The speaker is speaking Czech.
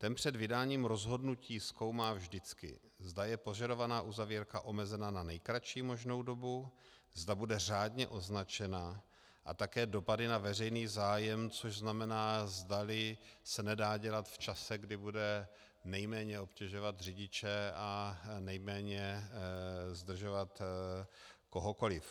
Ten před vydáním rozhodnutí zkoumá vždycky, zda je požadovaná uzavírka omezena na nejkratší možnou dobu, zda bude řádně označena, a také dopady na veřejný zájem, což znamená, zdali se nedá dělat v čase, kdy bude nejméně obtěžovat řidiče a nejméně zdržovat kohokoliv.